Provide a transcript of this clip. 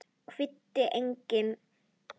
Kvaddi engan.